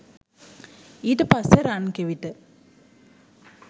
ඊට පස්සෙ රන් කෙවිට